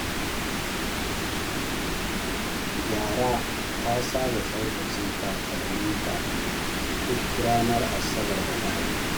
Zahra ta saba tsaftace takalmanta duk ranar Asabar da Lahadi.